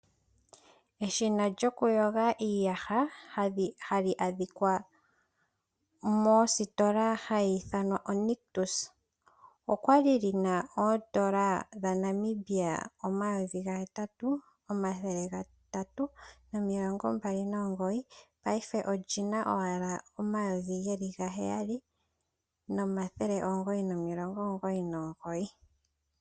Eshina lyoku yoga iiyaha hali adhika mositola hayi ithanwa oNictus olya li lyina oondola dhaNamibia omayovi gahetatu, omathele gatatu nomilongo mbali nomugoyi, paife olyina owala omayovi geli gaheyali nomathele omugoyi nomilongo omugoyi nomugoyi.